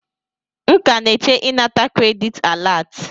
M ka na-eche ịnata kredit alat.